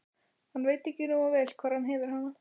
Hann veit ekki nógu vel hvar hann hefur hana.